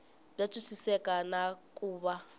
bya twisiseka na ku va